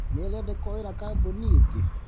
Nĩarĩ andĩkwo wĩra kambũni ĩngĩ?